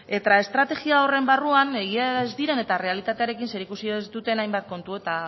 eta estrategia horren barruan egia da errealitatearekin zerikusia ez duten hainbat kontu eta